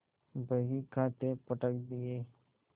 बहीखाते पटक दिये